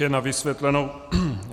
Jen na vysvětlenou.